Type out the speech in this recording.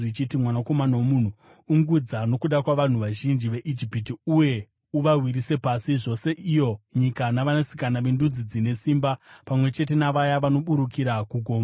“Mwanakomana womunhu, ungudza nokuda kwavanhu vazhinji veIjipiti uye uvawisire pasi zvose iyo nyika navanasikana vendudzi dzine simba, pamwe chete navaya vanoburukira kugomba.